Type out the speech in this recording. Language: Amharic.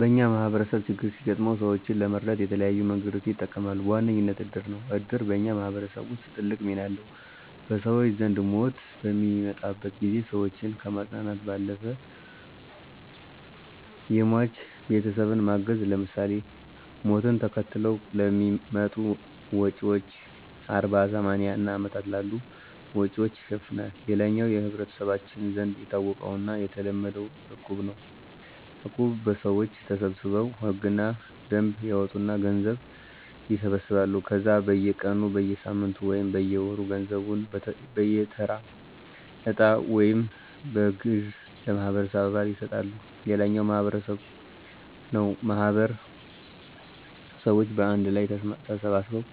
በኛ ማህበረሰብ ችግር ሲገጥመው ሰወችን ለመርዳት የተለያዩ መንገዶችን ይጠቀማሉ። በዋነኝነት እድር ነው። እድር በኛ ማህበረሰብ ውስጥ ትልቅ ሚና አለው። በሰወች ዘንድ ሞት በሚመጣበት ጊዜ ሰወችን ከማፅናናት ባለፈ የሟች ቤተሰብን ማገዝ ለምሳሌ፦ ሞትን ተከትለው ለሚመጡ ወጭወች አርባ፣ ሰማኒያ እና አመታት ያሉ ወጭወችን ይሸፍናል። ሌላኛው በመህበረሰባችን ዘንድ የታወቀውና የተለመደው እቁብ ነው። እቁብ ሰወች ተሰባስበው ህግና ደንብ ያወጡና ገንዘብ ይሰበስባሉ ከዛ በየ ቀኑ፣ በየሳምንቱ ወይም በየወሩ ገንዘቡን በየተራ እጣ ወይም በግዠ ለማህበረሰቡ አባል ይሰጣሉ። ሌላኛው ማህበር ነው ማህበር ሰወች በአንድ ላይ ተሰባስበው